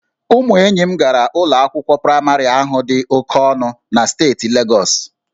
Ụmụ enyi m gara ụlọ akwụkwọ praịmarị ahụ dị oke ọnụ na steeti Legọs